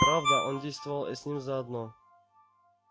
правда он действовал с ним заодно